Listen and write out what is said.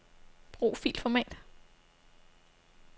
Brug filformat.